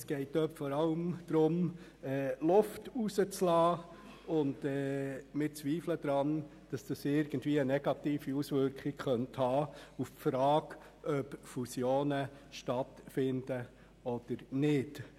Es geht dabei vor allem darum, Luft rauszulassen, und wir zweifeln daran, dass dies irgendwie eine negative Auswirkung auf die Frage haben könnte, ob Fusionen stattfinden oder nicht.